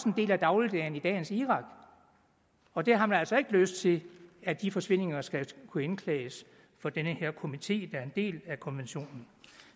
en del af dagligdagen i dagens irak og der har man altså ikke lyst til at de forsvindinger skal kunne indklages for den her komité der en del af konventionen